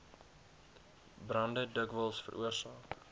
brande dikwels veroorsaak